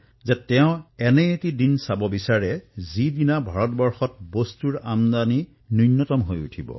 বিহাৰৰ আমাৰ এজন বন্ধু শ্ৰীমান হিমাংশুৱে মোলৈ নমো এপত লিখিথে যে তেওঁ এনে এক দিনৰ স্বপ্ন দেখিছে যে এদিন ভাৰতলৈ বিদেশৰ সামগ্ৰীৰ আমদানি বন্ধ হব